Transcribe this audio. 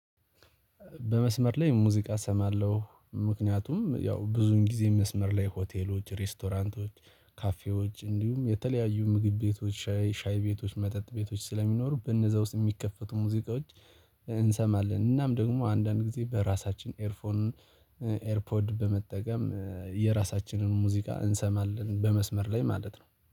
በመስመር ላይ ሙዚቃ እሰማለሁ ምክንያቱም ያው ብዙን ጊዜ መስመር ላይ ሆቴሎች ሬስቶራንቶች ካፌዎች እንዲሁም የተለያዩ ምግብ ቤቶች ሻይ ሻይ ቤቶች መጠጥ ቤቶች ስለሚኖሩ በነዛ ውስጥ የሚከፈቱ ሙዚቃዎች እንሰማለን እናም ደግሞ አንዳንድ ጊዜ በራሳችን ኤርፎን ኤርፖድ በመጠቀም የራሳችንን ሙዚቃ እንሰማለን። በመስመር ላይ ማለት ነው